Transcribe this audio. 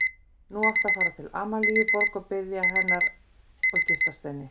Nú áttu að fara til Amalíu Borg og biðja hennar og giftast henni.